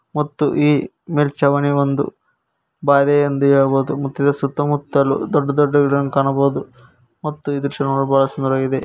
ಮತ್ತು ಈ ಮೇಲ್ಚಾವಣಿಯೊಂದು ಬಾದೆ ಅಂತ ಹೇಳಬಹುದು ಮತ್ತು ಇದರ ಸುತ್ತಮುತ್ತಲು ದೊಡ್ಡ ದೊಡ್ಡ ಗಿಡಗಳನ್ನು ಕಾಣಬಹುದು ಇದು ಬಹಳ ಸುಂದರವಾಗಿದೆ.